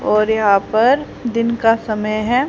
और यहां पर दिन का समय है।